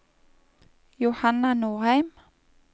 Johanna Norheim